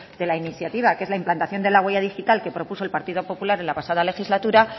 de la iniciativa que es la implantación de la huella digital que propuso el partido popular en la pasada legislatura